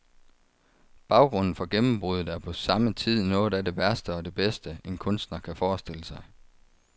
Baggrunden for gennembruddet er på samme tid noget af det værste og det bedste, en kunstner kan forestille sig.